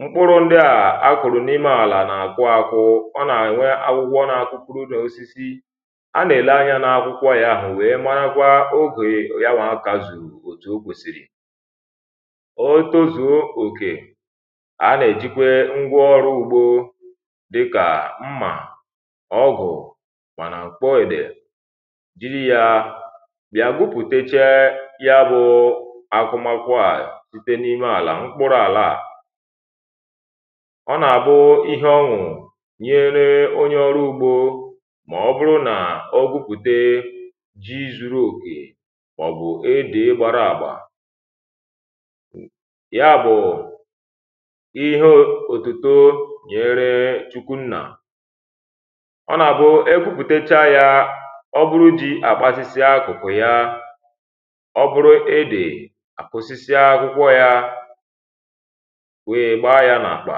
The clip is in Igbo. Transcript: mkpụrụ ndị à a kụ̀rụ̀ n’ime àlà nà-àkwụ àkwụ ọ nà-ènwe agwụgwọ n’akwụkwọ nà-osisi a nà-èle ahịa n’akwụkwọ yȧ àhụ wèe maagwȧ ogè ya nwà akazù òtù o kwèsìrì otozùo òkè a nà-èjikwe ngwa ọrụ ugbȯ dịkà mmà ọgụ̀ mànà kpoị̀dè dịrị yȧ bịa gwupùteche ya bụ̇ akụmakwȧ à site n’ime àlà ọ nà-àbụ ihe ọṅụ̀ nyere onye ọrụ̇ ugbo ma ọ bụrụ nà ọ gụpùte ji zuru òkè maọ̀bụ̀ edị̀ gbara àgba ya bụ̀ ihe òtùtù nyere chukwu nnà ọ nà-àbụ e gụpùtecha ya ọ bụrụ jị àkpasịsị akụ̀kụ̀ ya ọ bụrụ edè àkwụsịsị àkwụkwọ ya wee gbaa ya n'àkpà